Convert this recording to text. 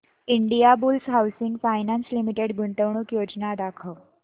Indiabulls housing finance limited गुंतवणूक योजना दाखव